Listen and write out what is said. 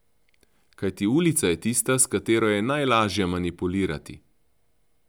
Kajti ulica je tista, s katero je najlažje manipulirati.